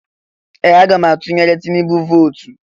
Ee! Aga m atụrụ Tinubu vootu.